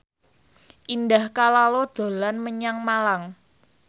Indah Kalalo dolan menyang Malang